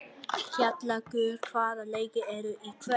Kjallakur, hvaða leikir eru í kvöld?